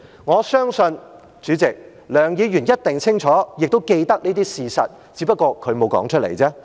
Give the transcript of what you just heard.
我相信，梁議員一定清楚，亦都記得這些事實，只不過她沒有說出來。